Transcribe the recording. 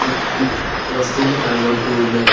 ఈ ఈ వస్తువులు కనబడుతూ ఉన్నాయి.